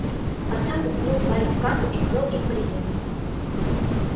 артем уткнул палец в карту и повёл им по линиям